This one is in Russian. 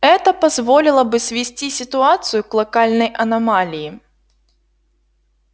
это позволило бы свести ситуацию к локальной аномалии